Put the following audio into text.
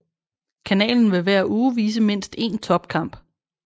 Kanalen vil hver uge vise mindst én topkamp